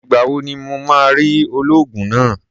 Ìgbà wo ni mo máa rí olóògùn náà?